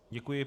Děkuji.